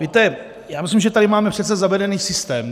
Víte, já myslím, že tady máme přece zavedený systém.